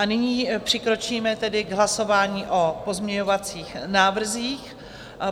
A nyní přikročíme tedy k hlasování o pozměňovacích návrzích.